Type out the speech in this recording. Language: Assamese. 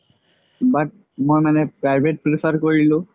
but মই মানে private prefer কৰিলো